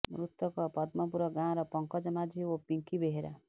ମୃତକ ପଦ୍ମପୁର ଗାଁର ପଙ୍କଜ ମାଝୀ ଓ ପିଙ୍କି ବେହେରା